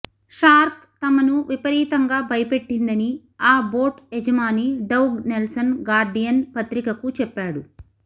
shark తమను విపరీతంగా భయపెట్టిందని ఆ బోట్ యజమాని డౌగ్ నెల్సన్ గార్డియన్ పత్రికకు చెప్పాడు